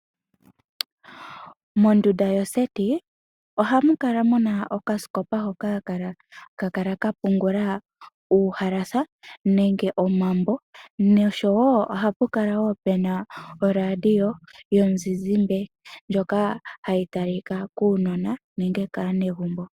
Mondunda yo seti ohamu kala muna okaskopa hoka ha ka kala ka pungula uuhalasa nenge omambo, nosho wo ohapu kala wo pu na oradio yomuzizimbe ndyoka hayi talika kuunona nenge kaanegumbo.